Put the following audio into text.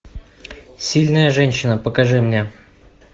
сильная женщина покажи мне